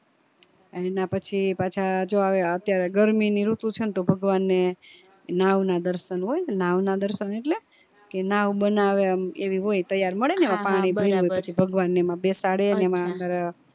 એના પછી પાછા જો અત્યારે ગરમી ની ઋતુ છે ને તો ભગવાન ને નાવ ના દર્શન હોઈ નાવ ના દર્શન એટલે કે નાવ બનાવે ને એવી હોઈ તૈયાર મળે ને પછી ભગવાન ને એમાં બેસાડે ને એમાં અંદર